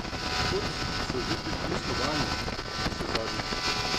Od kod so že prišli Slovani, navsezadnje?